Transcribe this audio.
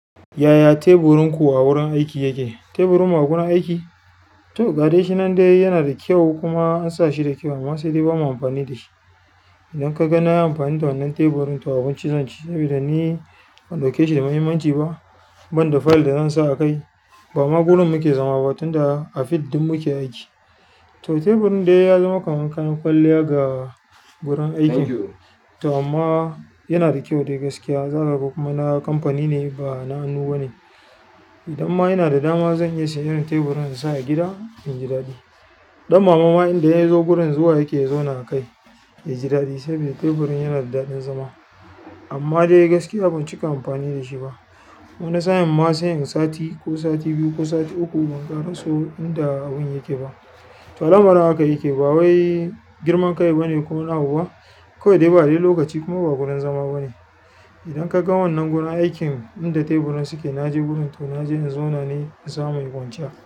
Yaya teburin ku a wurin aiki yake? Teburin m uagunan aiki? To gadashi nan dai yanada kyau ansa shi da kyau sai dai bama amfani dashi idan ka ga na yi amfani da wannan teburin to abinci zan ci saboda ni ban ɗauke shi da muhimmanci ba. Ban da fayil da zan sa a kai, ba magurin mu ke zama ba tun da a field ɗin mu ke aiki. To teburin dai ya zama kamar kayan kwalliya ga wurin aiki. To amma yana da kyau dai gaskiya. Za kaga kuma na kamfani ne ba na hannu bane. Idan ma yana da dama zan iya siyan teburin insa a gida inji daɗi. Dan mama ma indai ya zo gurin zuwa yake zauna a kai, ya ji daɗi saboda teburin yana da daɗin zama. Amma dai gaskiya ban cika amfani da shi ba. Wani sa'in ma sai inyi sati ko sati biyu ban karaso inda abun yake ba to lamarin haka yake, ba wai girman kai ba ne ko wani abu ba. Kawai dai ba dai lokaci kuma ba gurin zama bane. Idan ka ga wannan guran aikin inda teburan suke, naje wurin to naje in zauna ne in samu in kwanciya.